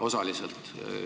Osaliselt.